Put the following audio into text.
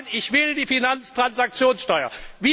Sie sagen Ich will die Finanztransaktionssteuer.